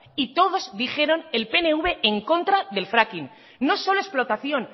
y todos dijeron el pnv en contra del fracking no solo explotación